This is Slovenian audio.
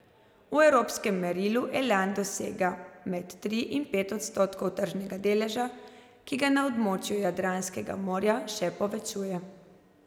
V evropskem merilu Elan dosega med tri in pet odstotkov tržnega deleža, ki ga na območju Jadranskega morja še povečuje.